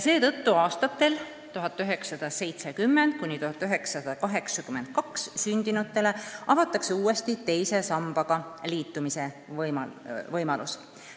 Seetõttu avatakse aastatel 1970–1982 sündinutele uuesti teise sambaga liitumise võimalus.